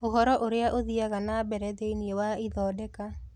Ũhoro ũrĩa ũthiiaga na mbere thĩinĩ wa ithondeka